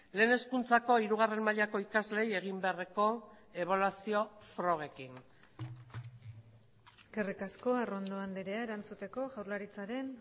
lehen hezkuntzako hirugarren mailako ikasleei egin beharreko ebaluazio frogekin eskerrik asko arrondo andrea erantzuteko jaurlaritzaren